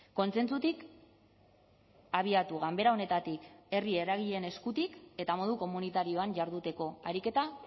kontsentsutik abiatu ganbera honetatik herri eragileen eskutik eta modu komunitarioan jarduteko ariketa